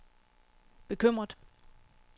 bekymret